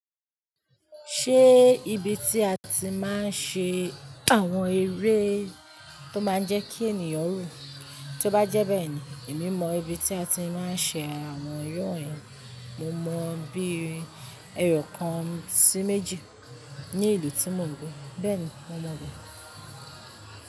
Ṣé ibi tí a ti máa ń ṣe àwọn eré tó máa ń jẹ́ kí ènìyàn rù, tí ó bá jẹ́ bẹ́ẹ̀ ni, èmi mọ ibi tí a ti máa ń ṣe àwọn eré wọ̀n yen, mo mọ bí eyokan sí méjì ní ìlú tí mò ń gbé. Bẹ́ẹ̀ni, mo mọ̀ bẹ.